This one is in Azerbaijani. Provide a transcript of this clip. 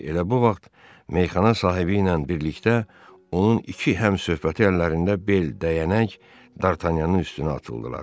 Elə bu vaxt meyxana sahibi ilə birlikdə onun iki həmsöhbəti əllərində bel, dəyənək D'Artagnanın üstünə atıldılar.